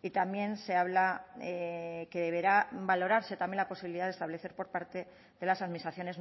y también se habla que deberá valorarse también la posibilidad de establecer por parte de las administraciones